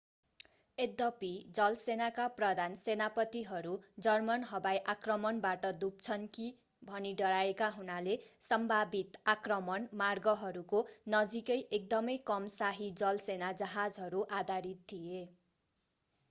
यद्यपि जलसेनाका प्रधान सेनापतिहरू जर्मन हवाई आक्रमणबाट डुब्छन् कि भनी डराएका हुनाले सम्भावित आक्रमण मार्गहरूको नजिकै एकदमै कम शाही जलसेना जहाजहरू आधारित थिए